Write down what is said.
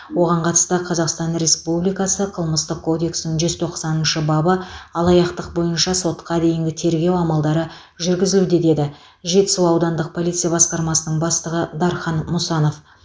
оған қатысты қазақстан республикасы қылмыстық кодексінің жүз тоқсаныншы бабы алаяқтық бойынша сотқа дейінгі тергеу амалдары жүргізілді деді жетісу аудандық полиция басқармасының бастығы дархан мұсанов